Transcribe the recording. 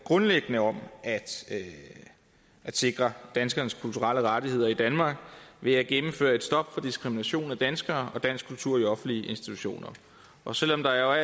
grundlæggende om at sikre danskernes kulturelle rettigheder i danmark ved at gennemføre et stop for diskrimination af danskere og dansk kultur i offentlige institutioner og selv om der